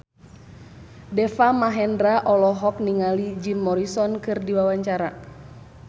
Deva Mahendra olohok ningali Jim Morrison keur diwawancara